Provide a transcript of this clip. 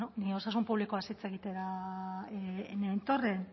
bueno ni osasun publikoaz hitz egitera nentorren